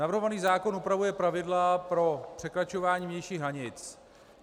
Navrhovaný zákon upravuje pravidla pro překračování vnějších hranic.